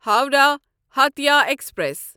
Howrah Hatia express